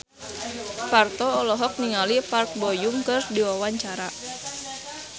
Parto olohok ningali Park Bo Yung keur diwawancara